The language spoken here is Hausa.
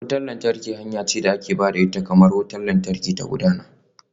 Wutar lantarki hanya ce da ke ba da damar wutar lantarki ta gudana.